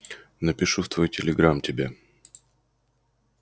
напишу в твой телеграм тебе